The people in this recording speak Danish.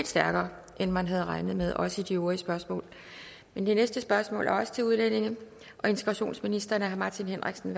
stærkere end man havde regnet med også i de øvrige spørgsmål det næste spørgsmål er også til udlændinge og integrationsministeren af herre martin henriksen